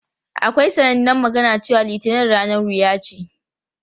Akwai sanannen magana cewa "Litinin ranar wuya ce".